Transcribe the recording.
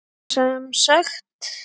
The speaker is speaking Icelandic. Og sem sagt!